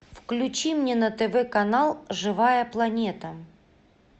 включи мне на тв канал живая планета